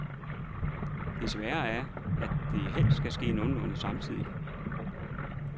Det svære er, at det helst skal ske nogenlunde samtidigt.